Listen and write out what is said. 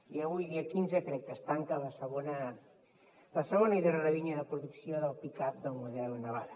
i avui dia quinze crec que es tanca la segona i darrera línies de producció del pick up del model navara